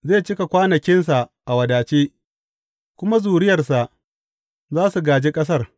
Zai ci kwanakinsa a wadace, kuma zuriyarsa za su gāji ƙasar.